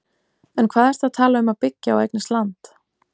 En hvað ertu að tala um að byggja og eignast land?